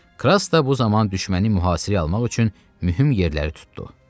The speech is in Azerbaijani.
Kras da bu zaman düşməni mühasirəyə almaq üçün mühüm yerləri tutdu.